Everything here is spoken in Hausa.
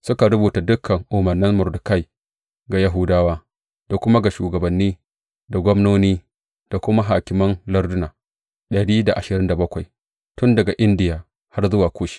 Suka rubuta dukan umarnan Mordekai ga Yahudawa, da kuma ga shugabanni, da gwamnoni, da hakiman larduna dari da ashirin da bakwai tun daga Indiya har zuwa Kush.